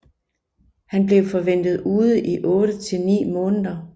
Han blev forventet ude i otte til ni måneder